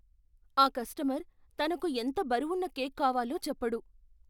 ఆ కస్టమర్ తనకు ఎంత బరువున్న కేక్ కావాలో చెప్పడు.